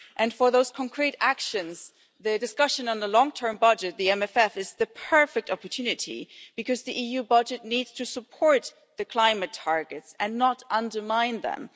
And for those concrete actions, the discussion on the long term budget the MFF is the perfect opportunity, because the EU budget needs to support the climate targets and not undermine them.